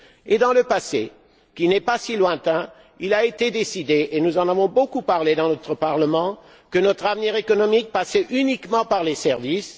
Et, dans le passé, qui n'est pas si lointain, il a été décidé et nous en avons beaucoup parlé au sein de notre Parlement que notre avenir économique passait uniquement par les services.